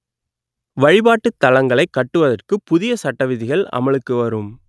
வழிபாட்டுத் தலங்களை கட்டுவதற்கு புதிய சட்ட விதிகள் அமலுக்கு வரும்